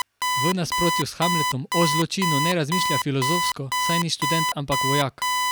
V nasprotju s Hamletom o zločinu ne razmišlja filozofsko, saj ni študent ampak vojak.